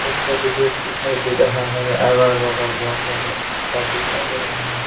एक तस्वीर दिखाई दे रहा है अगर-बगर बहुत सारे घर दिखाई दे रहे हैं।